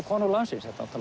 konu landsins þetta